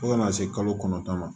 Fo ka n'a se kalo kɔnɔntɔn ma